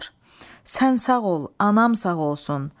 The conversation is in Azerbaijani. Sən sağ ol, anam sağ olsun.